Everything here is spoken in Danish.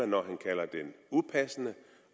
når han kalder den upassende